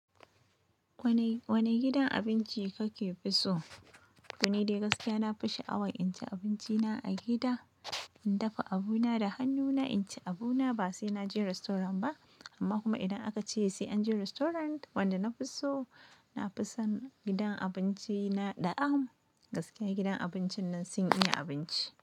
Wane, wane gidan abinci kake fi so? Ni dai gaskiya na fi sha'awar in ci abinci na a gida, in dafa abuna da hannuna, in ci abuna ba sai na je restaurant ba. Amma kuma idan aka ce sai an je restaurant, wanda na fi so, na fi son gidan abinci na D'a am Gaskiya gidan abincin nan sun iya abinci.